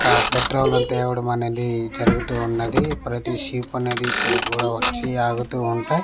ఆ పెట్రోల్ మనది జరుగుతూ ఉన్నది ప్రతి షీప్ అనేది ఇక్కడికి కూడా వచ్చి ఆగుతూ ఉంటాయి--